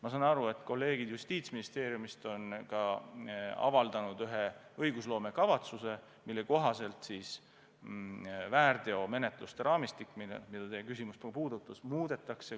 Ma saan aru, et kolleegid Justiitsministeeriumist on avaldanud ühe õigusloomekavatsuse, mille kohaselt väärteomenetluste raamistikku, mida teie küsimus ka puudutas, muudetakse.